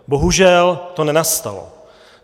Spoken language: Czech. Bohužel to nenastalo.